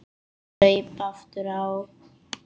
Ég saup aftur á.